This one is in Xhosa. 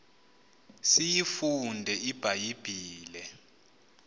siyifunde ibha yibhile